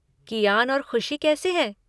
कियान और खुशी कैसे हैं?